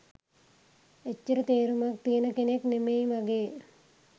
එච්චර තේරුමක් තියෙන කෙනෙක් නෙමෙයි වගේ.